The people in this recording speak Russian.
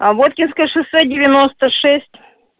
а воткинское шоссе девяноста шесть